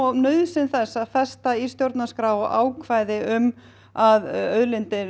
á nauðsyn þess að festa í stjórnarskrá ákvæði um að auðlindir